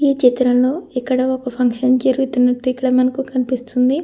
ఈ చిత్రంలో ఇక్కడ ఒక ఫంక్షన్ జరుగుతున్నట్టు ఇక్కడ మనకు కనిపిస్తుంది.